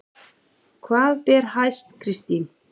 Hvað ber hæst Kristín?